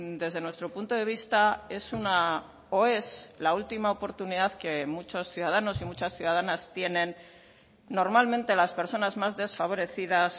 desde nuestro punto de vista es una o es la última oportunidad que muchos ciudadanos y muchas ciudadanas tienen normalmente las personas más desfavorecidas